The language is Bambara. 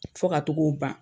Fo ka t'o k'o ban.